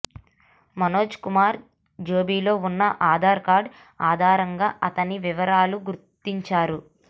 మనోజ్కుమార్ జేబులో ఉన్న ఆధార్ కార్డు ఆధారంగా అతని వివరాలు గుర్తించారు